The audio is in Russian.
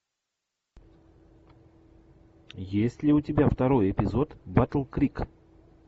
есть ли у тебя второй эпизод батл крик